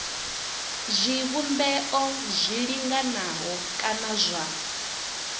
zwivhumbeo zwi linganaho kana zwa